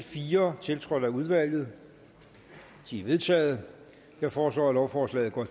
fire tiltrådt af udvalget de er vedtaget jeg foreslår at lovforslaget går